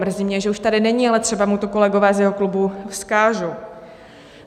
Mrzí mě, že už tady není, ale třeba mu to kolegové z jeho klubu vzkážou.